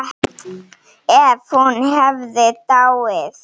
Ef hún hefði dáið.